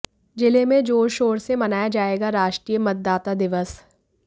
जिले में जोर शोर से मनाया जायेगा राष्ट्रीय मतदाता दिवस